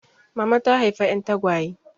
Mama ta haifa 'yan tagwaye.